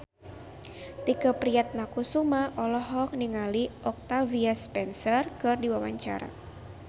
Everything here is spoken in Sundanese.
Tike Priatnakusuma olohok ningali Octavia Spencer keur diwawancara